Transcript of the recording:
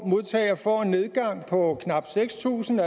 modtager får en nedgang på knap seks tusind